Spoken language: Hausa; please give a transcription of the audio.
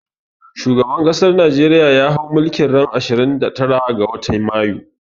Shugaban ƙasan najeriya ya hau mulki ran ashirin da tara ga watan mayu